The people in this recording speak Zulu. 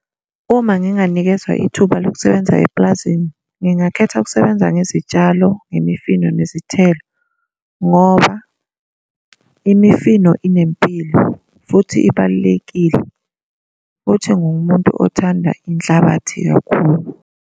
Uma nginganikezwa ithuba lokusebenza epulazini, ngingakhetha ukusebenza ngezitshalo, nemifino, nezithelo, ngoba imifino unempilo futhi ibalulekile, futhi ngingumuntu othanda inhlabathi kakhulu.